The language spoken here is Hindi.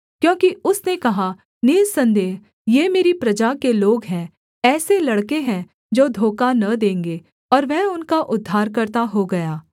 क्योंकि उसने कहा निःसन्देह ये मेरी प्रजा के लोग हैं ऐसे लड़के हैं जो धोखा न देंगे और वह उनका उद्धारकर्ता हो गया